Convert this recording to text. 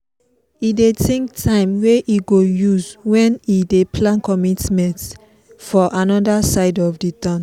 e dey think time wey e go use when e dey plan commitments for anoda side of the town